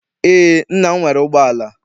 Eé, nna m nwere ụgbọala.